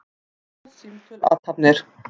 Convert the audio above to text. Hljóð, símtöl, athafnir.